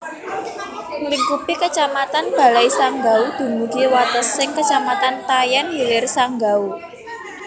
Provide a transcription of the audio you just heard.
Nglingkupi Kecamatan Balai Sanggau dumugi watesing Kecamatan Tayan Hilir Sanggau